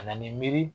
Ka na ni miiri